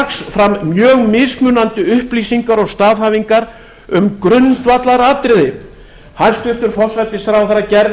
strax fram mjög mismunandi upplýsingar og staðhæfingar um grundvallaratriði hæstvirtur forsætisráðherra gerði